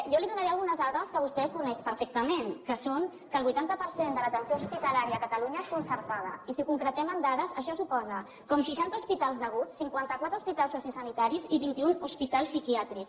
jo li donaré algunes dades que vostè coneix perfectament que són que el vuitanta per cent de l’atenció hospitalària a catalunya és concertada i si ho concretem amb dades això suposa seixanta hospitals d’aguts cinquanta quatre hospitals sociosanitaris i vint un hospitals psiquiàtrics